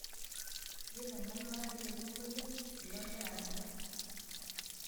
yiolo enkarna elesingolio ele ogira adala